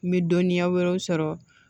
N bɛ dɔnniya wɛrɛw sɔrɔ